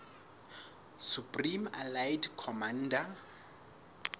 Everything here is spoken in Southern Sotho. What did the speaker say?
supreme allied commander